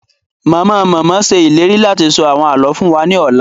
Mama-mama ṣe ìlérí láti sọ àwọn àlọ fún wa ni ọla